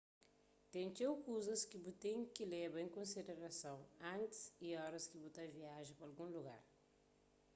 ten txeu kuzas ki bu ten ki leba en konsiderason antis y oras ki bu ta viaja pa algun lugar